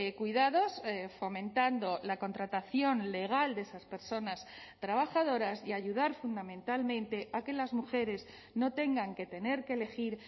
cuidados fomentando la contratación legal de esas personas trabajadoras y ayudar fundamentalmente a que las mujeres no tengan que tener que elegir